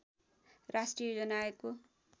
राष्ट्रिय योजना आयोगको